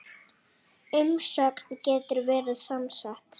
Umsögn getur verið samsett